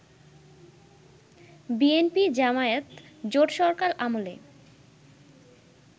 বিএনপি-জামায়াত জোটসরকার আমলে